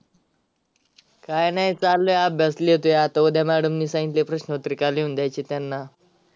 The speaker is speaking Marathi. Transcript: काय नाही चाललंय अभ्यास लिहतोय आता उद्या madam नी सांगितलय प्रश्नपत्रिका लिहून द्यायची त्यांना.